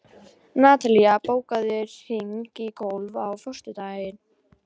Natalí, bókaðu hring í golf á föstudaginn.